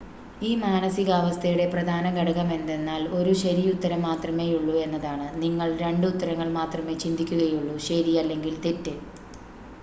ഈ മാനസികാവസ്ഥയുടെ പ്രധാന ഘടകമെന്തെന്നാൽ ഒരു ശരിയുത്തരം മാത്രമേയുള്ളു എന്നതാണ് നിങ്ങൾ രണ്ട് ഉത്തരങ്ങൾ മാത്രമേ ചിന്തിക്കുകയുള്ളു ശരി അല്ലെങ്കിൽ തെറ്റ്